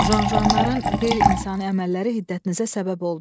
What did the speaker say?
Jan-juanların qeyri-insani əməlləri hiddətinizə səbəb oldu.